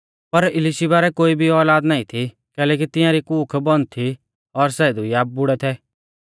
पर इलिशीबा रै कोई भी औलाद नाईं थी कैलैकि तिंआरी कूख बन्द थी और सै दुइया बुड़ै थै